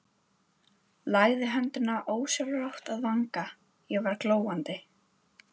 Lagði höndina ósjálfrátt að vanga, ég var glóandi.